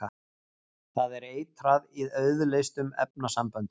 Það er eitrað í auðleystum efnasamböndum.